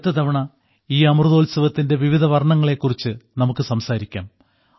അടുത്ത തവണ ഈ അമൃതോത്സവത്തിന്റെ വിവിധ വർണ്ണങ്ങളെ കുറിച്ച് നമുക്ക് സംസാരിക്കാം